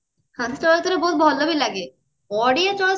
ବହୁତ ଭଲ ବି ଲାଗେ ବଢିଆ ଚଳଚିତ୍ର